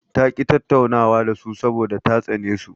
Ta ƙi tattaunawa da su saboda ta tsane su.